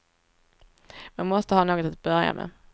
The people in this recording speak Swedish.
Man måste ha något att börja med.